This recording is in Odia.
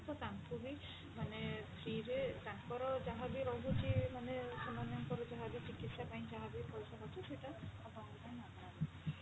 ତ ତାଙ୍କୁ ବି ମାନେ free ରେ ତାଙ୍କର ଯାହା ବି ରହୁଛି ମାନେ ସେମାନଙ୍କର ଯାହା ବି ଚିକିତ୍ସା ପାଇଁ ଯାହା ବି ପଇସା ଖର୍ଚ୍ଚ ସେଟା ଆପଣଙ୍କ ପାଇଁ ମାଗଣା ରହୁଛି।